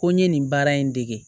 Ko n ye nin baara in dege